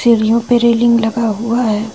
पे रेलिंग लगा हुआ है।